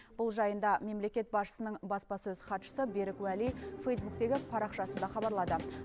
бұл жайында мемлекет басшысының баспасөз хатшысы берік уәли фейзбуктегі парақшасында хабарлады